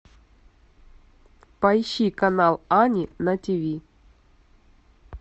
поищи канал ани на ти ви